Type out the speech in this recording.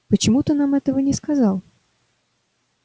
почему ты нам этого не сказал